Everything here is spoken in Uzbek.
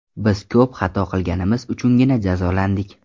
Biz ko‘p xato qilganimiz uchungina jazolandik.